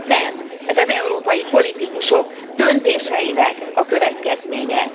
Nem, ez az európai politikusok döntéseinek a következménye.